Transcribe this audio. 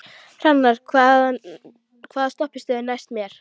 Hrannar, hvaða stoppistöð er næst mér?